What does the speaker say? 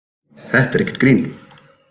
Þetta er ekkert grín